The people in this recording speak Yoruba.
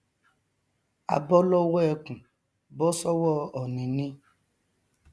a bọ lọwọ ẹkùn bọ sọwọ ònì ni